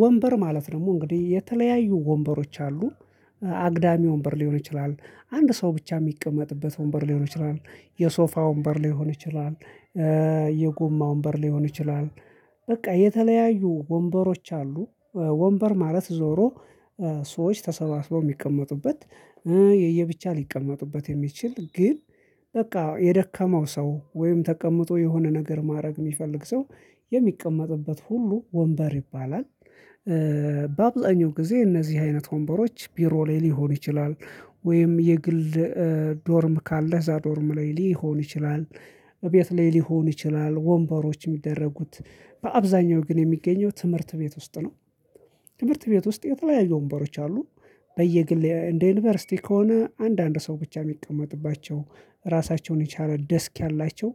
ወንበር ማለት ደግሞ እንግዲህ የተለያዩ ወንበሮች አሉ አግዳሚ ወንበር ሊሆን ይችላል አንድ ሰው ብቻ የሚቀመጥበት ወንበር ሊሆን ይችላል። የሶፋ ወንበር ሊሆን ይችላል። የጉማ ወንበር ሊሆን ይችላል። በቃ የተለያዩ ወንበሮች አሉ። ወንበር ማለት ዞሮ ሰዎች ተሰባስበው የሚቀመጡበት የየብቻ ሊቀመጡበት የሚችል ግን በቃ የደከመው ሰው ወይም ተቀምጦ የሆነ ነገር ማድረግ የሚፈልግ ሰው የሚቀመጥበት ሁሉ ወንበር ይባላል። በአብዛኛው ጊዜ እነዚህ አይነት ወንበሮች ቢሮ ላይ ሊሆኑ ይችላል። ወይም የግል ዶርም ካለ እዛ ዶርም ላይ ሊሆን ይችላል። በቤት ላይ ሊሆን ይችላል ወንበሮች የሚደረጉት በአብዛኛው ግን የሚገኘው ትምህርት ቤት ውስጥ ነው። ትምህርት ቤት ውስጥ የተለያዩ ወንበሮች አሉ። በየግል እንደ ዩኒቨርሲቲ ከሆነ አንዳንድ ሰው ብቻ የሚቀመጥባቸው ራሳቸውን የቻለ ደስክ ያላቸው